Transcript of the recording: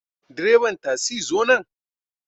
Direban tasi zo nan